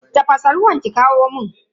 Tafasa ruwan ki kawo mun.